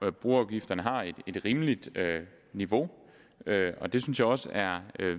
at boafgifterne har et rimeligt niveau og det synes jeg også er